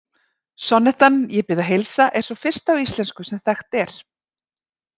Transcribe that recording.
Sonnettan Ég bið að heilsa er sú fyrsta á íslensku sem þekkt er.